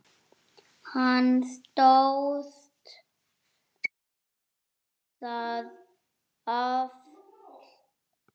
Hann stóðst það afl.